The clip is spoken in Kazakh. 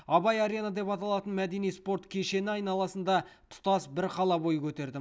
абай арена деп аталатын мәдени спорт кешені айналасында тұтас бір қала бой көтерді